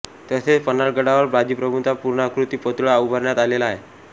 तसेच पन्हाळगडावर बाजीप्रभूंचा पूर्णाकृती पुतळा उभारण्यात आलेला आहे